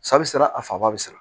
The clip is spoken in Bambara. Sa bɛ siran a faba bɛ siran